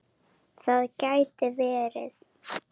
Það gæti verið.